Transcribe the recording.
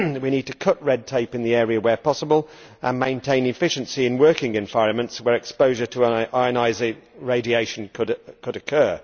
We need to cut red tape in the area, where possible, and maintain efficiency in working environments where exposure to ionising radiation could occur.